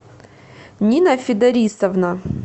нина федорисовна